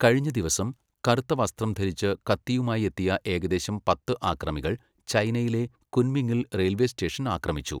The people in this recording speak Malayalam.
കഴിഞ്ഞ ദിവസം, കറുത്ത വസ്ത്രം ധരിച്ച് കത്തിയുമായി എത്തിയ ഏകദേശം പത്ത് ആക്രമികൾ, ചൈനയിലെ കുൻമിങ്ങിൽ റെയിൽവേ സ്റ്റേഷൻ ആക്രമിച്ചു.